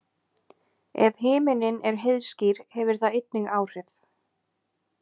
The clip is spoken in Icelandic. Ef himinninn er heiðskír hefur það einnig áhrif.